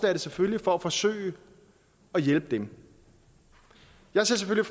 er det selvfølgelig for at forsøge at hjælpe dem jeg ser